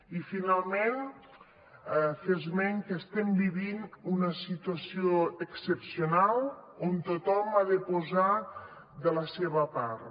i finalment fer esment que estem vivint una situació excepcional on tothom ha de posar de la seva part